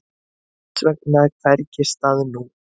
Þess sér hvergi stað nú.